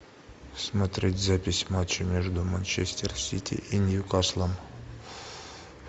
смотреть запись матча между манчестер сити и ньюкаслом